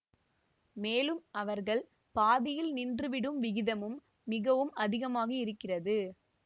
மேலும் அவர்கள் பாதியில் நின்று விடும் விகிதமும் மிகவும் அதிகமாக இருக்கிறது